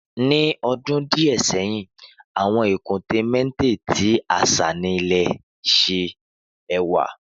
Ni ọdun diẹ sẹhin awọn ikunte matte ti aṣa ni ile-iṣẹ ẹwa